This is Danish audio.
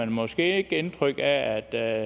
måske ikke indtryk af at der